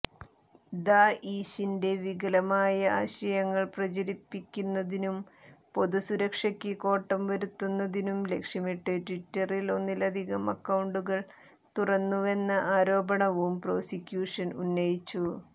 ദാഇശിന്റെ വികലമായ ആശയങ്ങൾ പ്രചരിപ്പിക്കുന്നതിനും പൊതുസുരക്ഷക്ക് കോട്ടം വരുത്തുന്നതിനും ലക്ഷ്യമിട്ട് ട്വിറ്ററിൽ ഒന്നിലധികം അക്കൌണ്ടുകൾ തുറന്നുവെന്ന ആരോപണവും പ്രോസിക്യൂഷൻ ഉന്നയിച്ചു